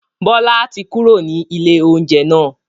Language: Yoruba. Bọlá tí kúrò ní ilé oúnjẹ náà